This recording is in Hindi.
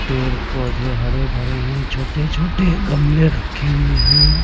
पेड़ पौधे हरे भरे है छोटे-छोटे गमले रखे हुए है।